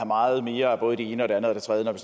meget mere af både det ene og det andet og det tredje